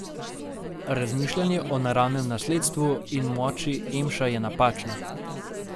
Razmišljanje o naravnem nasledstvu in moči emša je napačno.